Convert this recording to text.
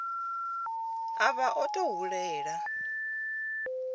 a vha o tou hulela